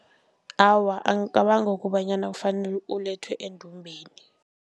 Awa, angicabangi kobanyana kufanele ulethwe endumbeni.